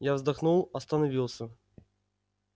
я вздохнул остановился